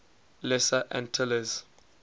lesser antilles